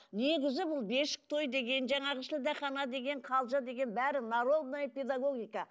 негізі бұл бесік той деген жаңағы шілдехана деген қалжа деген бәрі народная педагогика